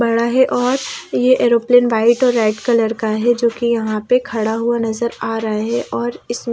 बड़ा है और ये एरोप्लेन वाइट और रेड कलर का है जो कि यहां पे खड़ा हुआ नजर आ रहा है और इसमें--